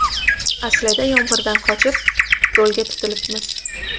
Aslida yomg‘irdan qochib, do‘lga tutilibmiz.